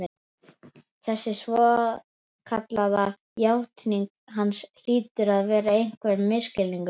Þessi svokallaða játning hans hlýtur að vera einhver misskilningur, bara